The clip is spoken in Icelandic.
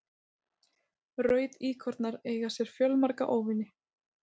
rauðíkornar eiga sér fjölmarga óvini